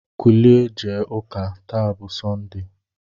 Kulie jewe ụka, taa bụ sọnde!